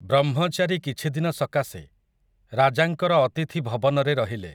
ବ୍ରହ୍ମଚାରୀ କିଛି ଦିନ ସକାଶେ, ରାଜାଙ୍କର ଅତିଥି ଭବନରେ ରହିଲେ ।